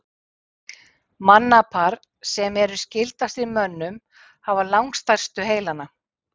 Mannapar sem eru skyldastir mönnum hafa langstærstu heilana.